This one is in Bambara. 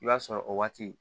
I b'a sɔrɔ o waati